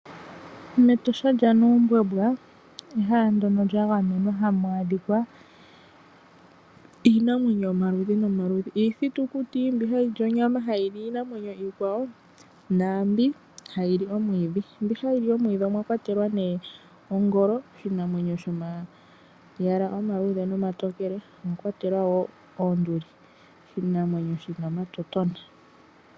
Metosha lyaNuumbwembwa ehala ndjono lyagamenwa hamu adhika iinamwenyo yomaludhi nomaludhi. Iithitukiti mbi hayi li onyama hayi li iinamwenyo iikwawo naambi hayi li omwiidhi, mbi hayi li omwiidhi omwakwatelwa ne ongolo oshinamwenyo shomayala omaluudhe omatokele . Omwakwatelwa woo oonduli oshinamwenyo shina omatotona.